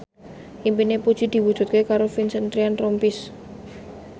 impine Puji diwujudke karo Vincent Ryan Rompies